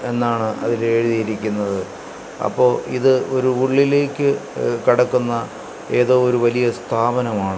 എന്നാണ് അതിൽ എഴുതിയിരിക്കുന്നത് അപ്പോ ഇത് ഒരു ഉള്ളിലേക്ക് കടക്കുന്ന ഏതോ ഒരു വലിയ സ്ഥാപനമാണ്.